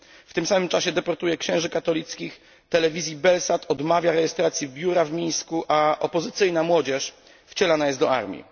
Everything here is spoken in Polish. W tym samym czasie deportuje księży katolickich telewizji Belsat, odmawia rejestracji biura w Mińsku, a opozycyjna młodzież wcielana jest do armii.